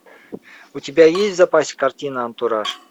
у тебя есть в запасе картина антураж